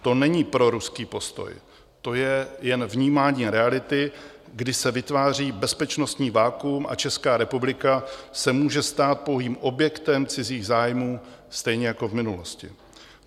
To není proruský postoj, to je jen vnímání reality, kdy se vytváří bezpečnostní vakuum a Česká republika se může stát pouhým objektem cizích zájmů stejně jako v minulosti.